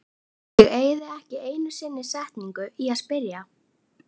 Ég eyði ekki einu sinni setningu í að spyrja